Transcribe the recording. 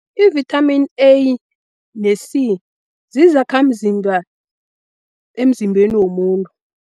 I-vitamin A ne-C zizakhamzimba emzimbeni womuntu.